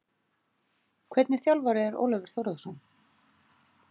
Hvernig þjálfari er Ólafur Þórðarson?